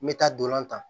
Me taa dolan tan